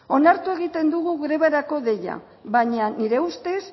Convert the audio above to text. onartu egiten dugu grebarako deia baina nire ustez